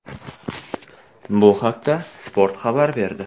Bu haqda Spot xabar berdi.